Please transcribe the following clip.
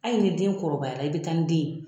Ayi ni den kɔrɔbaya i bɛ taa ni den ye.